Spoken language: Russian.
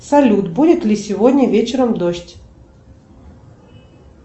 салют будет ли сегодня вечером дождь